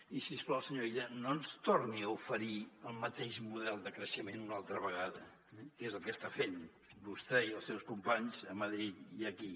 i si us plau senyor illa no ens torni a oferir el mateix model de creixement una altra vegada eh que és el que està fent vostè i els seus companys a madrid i aquí